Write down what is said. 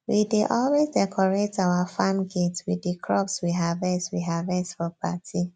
we dey always decorate our farm gates with di crops we harvest we harvest for party